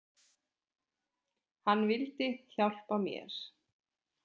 Hann vildi hjálpa mér.